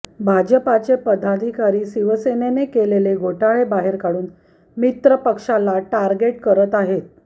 भाजपाचे पदाधिकारी शिवसेनेने केलेले घोटाळे बाहेर काढून मित्रपक्षाला टार्गेट करत आहेत